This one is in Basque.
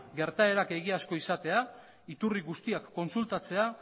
gertaerak egiazko izatea iturri guztiak kontsultatzea